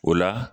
O la